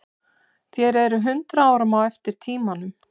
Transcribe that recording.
Þér eruð hundrað árum á eftir tímanum.